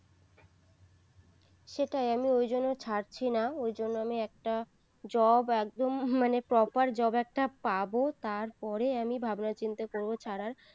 সেটাই আমি ঐজন্যেই ছাড়ছি না ওই জন্য আমি একটা job একদম মানে proper job একটা পাবো তারপরে আমি ভাবনা চিন্তা করবো ছাড়ার